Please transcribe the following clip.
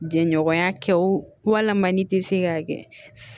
Jɛɲɔgɔnya kɛ o walama n'i tɛ se k'a kɛ